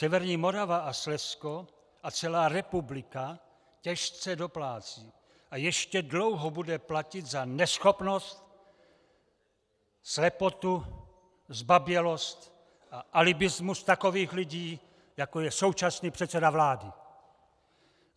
Severní Morava a Slezsko a celá republika těžce doplácí a ještě dlouho bude platit za neschopnost, slepotu, zbabělost a alibismus takových lidí, jako je současný předseda vlády!